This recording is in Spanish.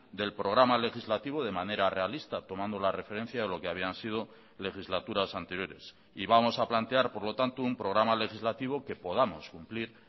del programa legislativo de manera realista tomando la referencia de lo que habían sido legislaturas anteriores y vamos a plantear por lo tanto un programa legislativo que podamos cumplir